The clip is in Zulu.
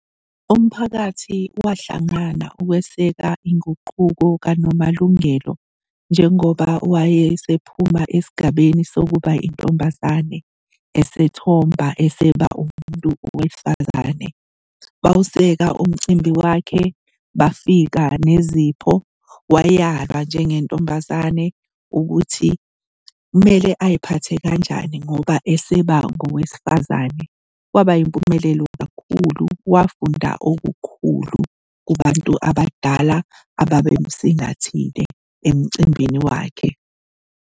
Umphakathi wahlangana ukweseka inguquko kaNomalungelo, njengoba wayesephuma esigabeni sokuba intombazane esethomba eseba umuntu wesifazane. Bawuseka umcimbi wakhe, bafika nezipho, wayalwa njengentombazane ukuthi kumele ay'phathe kanjani ngoba eseba ngowesifazane. Kwaba impumelelo kakhulu, wafunda okukhulu kubantu abadala ababemsingathile emcimbini wakhe.